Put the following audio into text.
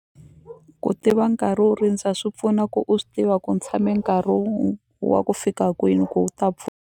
Ku tiva nkarhi wo rindza swi pfuna ku u swi tiva ku ni tshame nkarhi wa ku fika kwini ku u ta .